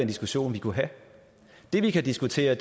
diskussion vi kunne have det vi kan diskutere